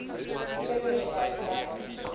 kinders bly geregtig